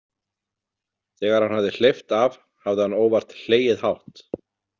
Þegar hann hafði hleypt af hafði hann óvart hlegið hátt.